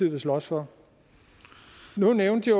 vil slås for nu nævnte